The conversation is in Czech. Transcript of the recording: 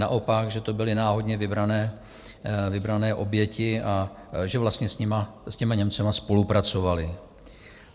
Naopak, že to byly náhodně vybrané oběti a že vlastně s těmi Němci spolupracovaly.